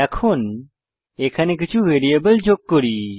এখন এখানে কিছু ভ্যারিয়েবল যোগ করি